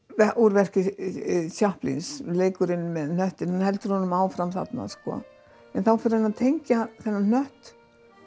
úr verki leikurinn með hnöttinn hann heldur honum áfram þarna en þá fer hann að tengja þennan hnött